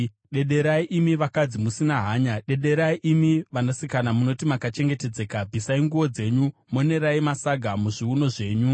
Dederai, imi vakadzi musina hanya; dederai imi vanasikana munoti makachengetedzeka! Bvisai nguo dzenyu, monerai masaga muzviuno zvenyu.